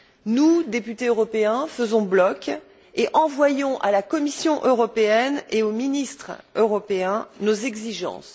Nous, députés européens, faisons bloc et envoyons à la Commission européenne et aux ministres européens nos exigences.